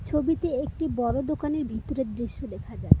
ছবিতে একটি বড় দোকানের ভিতরের দৃশ্য দেখা যাচ্ছে।